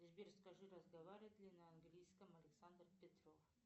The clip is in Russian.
сбер скажи разговаривает ли на английском александр петров